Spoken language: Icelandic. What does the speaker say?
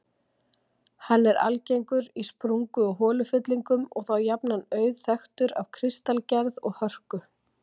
Hann er algengur í sprungu- og holufyllingum og þá jafnan auðþekktur af kristalgerð og hörku.